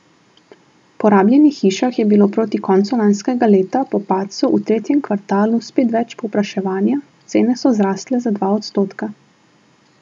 Po rabljenih hišah je bilo proti koncu lanskega leta po padcu v tretjem kvartalu spet več povpraševanja, cene so zrasle za dva odstotka.